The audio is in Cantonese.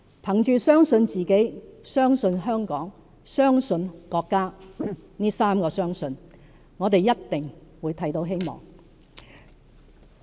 憑着相信自己、相信香港和相信國家這"三個相信"，我們一定會看到希望。